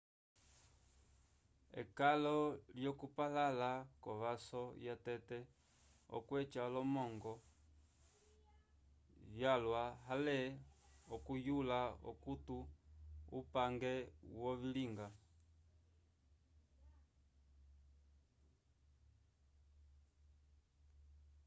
ekalo lyo kupalala kovaso ya tete okweca olomongo vyalwa ale okuyula okuto upange wove ilinga